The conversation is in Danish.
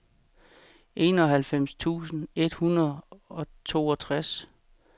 enoghalvfems tusind et hundrede og toogtres